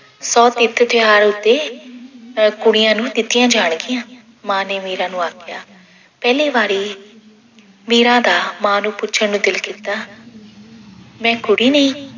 ਸੌ ਤਿਰਤ ਤਿਉਹਾਰ ਉੱਤੇ ਕੁੜੀਆਂ ਨੂੰ ਦਿੱਤੀਆਂ ਜਾਣਗੀਆਂ, ਮਾਂ ਨੇ ਮੀਰਾ ਨੂੰ ਆਖਿਆ। ਪਹਿਲੀ ਵਾਰੀ ਮੀਰਾ ਦਾ ਮਾਂ ਨੂੰ ਪੁੱਛਣ ਨੂੰ ਦਿਲ ਕੀਤਾ। ਮੈਂ ਕੁੜੀ ਨਹੀਂ